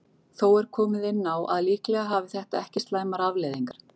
Þó er komið inn á að líklega hafi þetta ekki slæmar afleiðingar.